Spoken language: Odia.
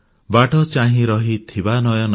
ବାଟ ଚାହିଁ ରହିଥିବା ନୟନ